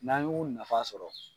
N'an y'u nafa sɔrɔ.